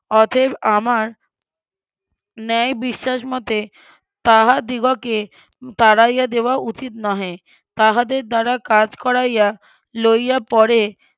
অতএব আমার ন্যায় বিশ্বাস মতে তাহাদিগকে তাড়াইয়া দেওয়া উচিত নহে তাহাদের দ্বারা কাজ করাইয়া লইয়া পরে